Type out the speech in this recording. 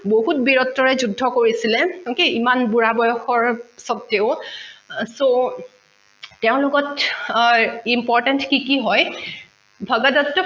বহুত বীৰত্বৰে যুদ্ধ কৰিছিলে okay ইমান বুঢ়া বয়সৰ স্বতেও so তেঁও লগত আহ important কি কি হয় ভগদট্ত